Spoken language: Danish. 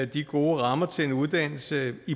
de gode rammer til en uddannelse i